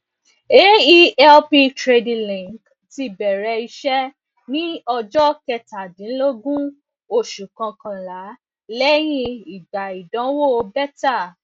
aelp trading link ti bẹrẹ iṣẹ ní ọjọ kẹtàdínlógún oṣù kọkànlá lẹyìn ìgbà ìdánwò beta